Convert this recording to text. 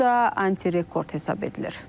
bu da antirekord hesab edilir.